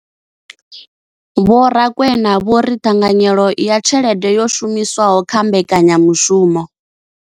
Vho Rakwena vho ri ṱhanganyelo ya tshelede yo shumiswaho kha mbekanyamushumo.